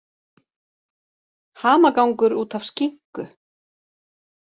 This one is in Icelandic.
Hamagangur út af skinku